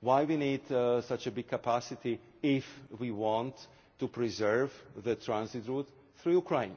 Why do we need such big capacity if we want to preserve the transit route through Ukraine?